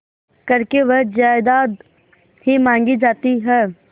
करके वह जायदाद ही मॉँगी जाती है